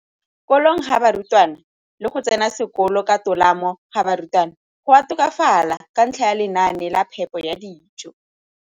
Kolong ga barutwana le go tsena sekolo ka tolamo ga barutwana go a tokafala ka ntlha ya lenaane la phepo ya dijo.